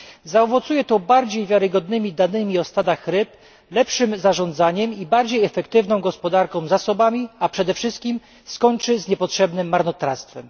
Zaowocuje to bardziej wiarygodnymi danymi o stadach ryb, lepszym zarządzaniem i bardziej efektywną gospodarką zasobami, a przede wszystkim skończy z niepotrzebnym marnotrawstwem.